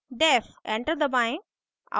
enter दबाएं